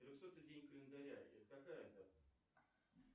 трехсотый день календаря это какая дата